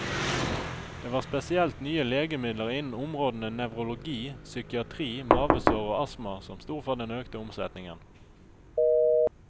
Det var spesielt nye legemidler innen områdene nevrologi, psykiatri, mavesår og astma som sto for den økte omsetningen.